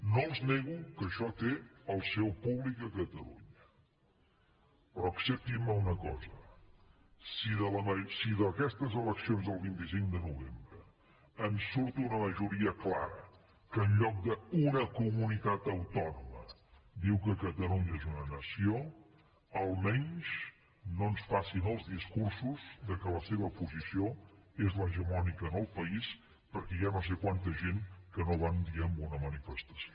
no els nego que això té el seu públic a catalunya però acceptin me una cosa si d’aquestes eleccions del vint cinc de novembre en surt una majoria clara que en lloc d’una comunitat autònoma diu que catalunya és una nació almenys no ens facin els discursos que la seva posició és l’hegemònica en el país perquè hi ha no sé quanta gent que no va un dia a una manifestació